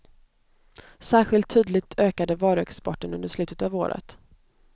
Särskilt tydligt ökade varuexporten under slutet av året.